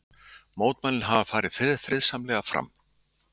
Mótmælin hafa farið friðsamlega fram